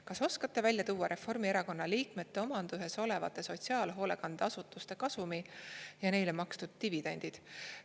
Kas oskate välja tuua Reformierakonna liikmete omanduses olevate sotsiaalhoolekande asutuste kasumi ja neile makstud dividendid?